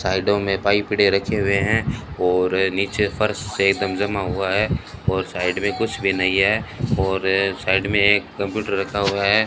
साइडों में पाइप पड़े रखे हुए हैं और नीचे फर्श एक दम जमा हुआ है और साइड में कुछ भी नहीं है और साइड में एक कंप्यूटर रखा हुआ है।